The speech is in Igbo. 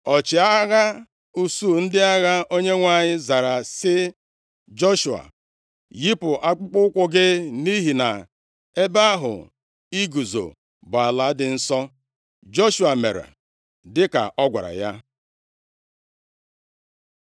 Ọchịagha usuu ndị agha Onyenwe anyị zara sị Joshua, “Yipụ akpụkpọụkwụ gị, nʼihi na ebe ahụ i guzo bụ ala dị nsọ.” Joshua mere dịka ọ gwara ya.